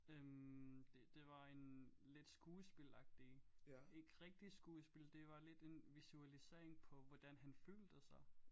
Øh det det var en lidt skuespilagtig ikke rigtig skuespil det var lidt en visualisering på hvordan han følte sig